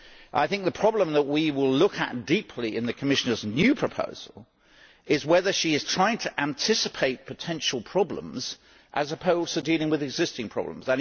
I think that the problem that we will look at closely in the Commissioner's new proposal is whether she is trying to anticipate potential problems as opposed to dealing with existing problems.